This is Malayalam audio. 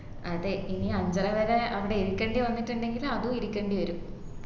അതെ ഇനി അഞ്ചര വരെ അങ്ങനെ ഇരിക്കണ്ടി വന്നിട്ടുണ്ടെങ്കിൽ അതു ഇരിക്കണ്ടിവരും